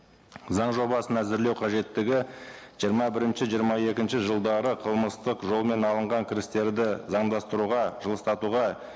заң жобасын әзірлеу қажеттігі жиырма бірінші жиырма екінші жылдары қылмыстық жолмен алынған кірістерді заңдастыруға жылыстатуға